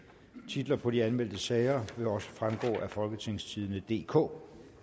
titlerne på de anmeldte sager vil også fremgå af folketingstidende DK